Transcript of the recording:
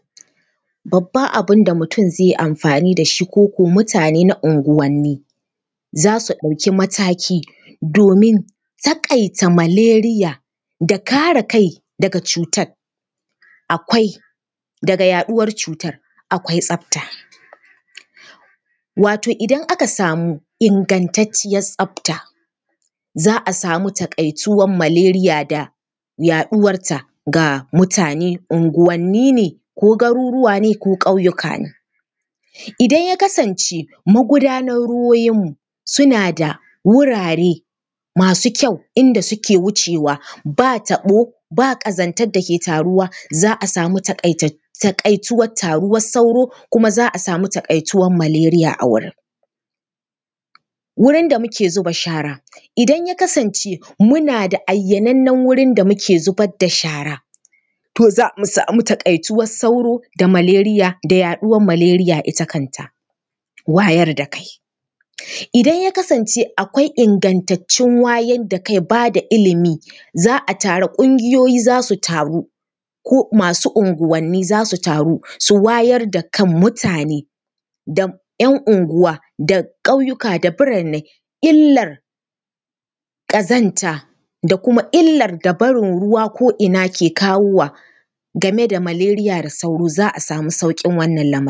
Babban abin da mutum zai yi amfani da shi ko ko mutane na unguwanni, za su ɗauki mataki domin taƙaita malaria da kare kai daga cutar. Akwai daga yaɗuwar cutar, akwai tsafta, wato idan aka samu ingantacciyar tsafta, za a samu taƙaituwar malaria da yaɗuwarta ga mutane, unguwanni ne ko garuruwa ne ko ƙauyuka ne. idan ya kasance magudanan ruwoyinmu suna da wurare masu kyau inda suke wucewa, ba taɓo, ba ƙazantar da ke taruwa, za a samu taƙaituwar taruwar sauro kuma za samu taƙaituwar malaria a wurin. Wurin da muke zuba shara, idan ya kasance muna da ayyanannen wurin da muke zuba shara, to za mu samu taƙaituwar sauro da malaria da yaɗuwar malaria ita kanta. Wayar da kai, idan ya kasance akwai ingantattun wayar da kai, ba da ilimi, za a taru, ƙungiyoyi za su taru ko masu unguwanni za su taru, su wayar da kan mutane da ‘yan unguwa da ƙauyuka da birannai. Illar ƙazanta da kuma illar ƙazanta da kuma illar da barin ruwa ko ina ke kawowa game da malaria da sauro za a samu sauƙin wannan lamari.